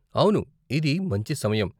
అవును, ఇది మంచి సమయం.